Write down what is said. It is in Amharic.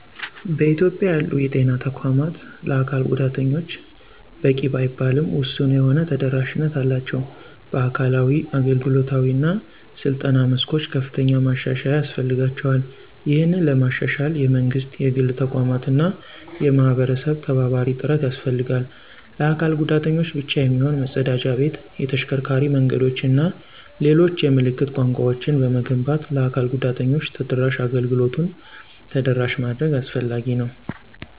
በኢትዮጵያ ያሉ የጤና ተቋማት ለአካል ጉዳተኞች በቂ ባይባልም ውሱን የሆነ ተደራሽነት አላቸው። በአካላዊ፣ አገልግሎታዊ እና ስልጠና መስኮች ከፍተኛ ማሻሻያ ያስፈልጋቸዋል። ይህንን ለማሻሻል የመንግስት፣ የግል ተቋማት እና የህብረተሰብ ተባባሪ ጥረት ያስፈልጋል። ለአካል ጉዳተኞች ብቻ የሚሆን መፀዳጃ ቤት፣ የተሽከርካሪ መንገዶችን እና ሌሎች የምልክት ቋንቋወችን በመገንባት ለ አካል ጉዳተኞች ተደራሽ አገልግሎቱን ተደራሽ ማድረግ አስፈላጊ ነው።